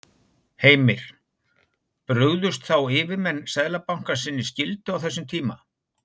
Heimir: Brugðust þá yfirmenn Seðlabankans sinni skyldu á þessum tíma?